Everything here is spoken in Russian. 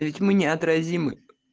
ведь мы неотразимы